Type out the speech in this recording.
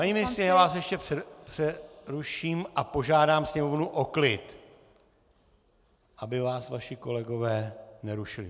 Paní ministryně, já vás ještě přeruším a požádám sněmovnu o klid, aby vás vaši kolegové nerušili.